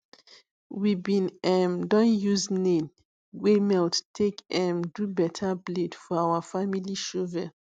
we bin um don use nail wey we melt take um do better blade for our family shovel